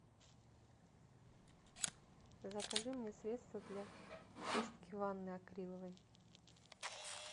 закажи мне средство для чистки ванны акриловой